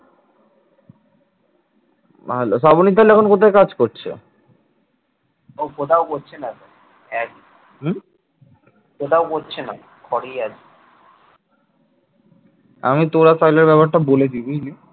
আমি তোর আর সোহেলের ব্যাপারটা বলে দিই বুঝলি?